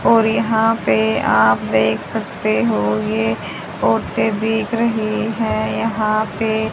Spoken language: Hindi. और यहां पे आप देख सकते हो ये तोते देख रहे हैं यहां पे--